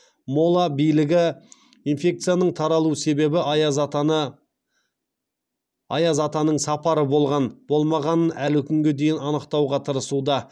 мола билігі инфекцияның таралу себебі аяз атаның сапары болған болмағанын әлі күнге дейін анықтауға тырсуда